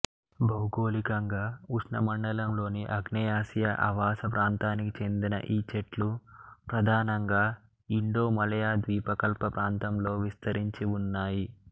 భౌగోళికంగా ఉష్ణమండలంలోని ఆగ్నేయాసియా ఆవాస ప్రాంతానికి చెందిన ఈ చెట్లు ప్రధానంగా ఇండోమలయా ద్వీపకల్ప ప్రాంతంలో విస్తరించి వున్నాయి